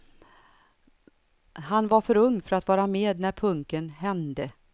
Han var för ung för att vara med när punken hände.